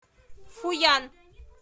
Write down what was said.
фуян